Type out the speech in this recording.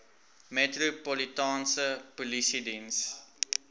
metropolitaanse polisie diens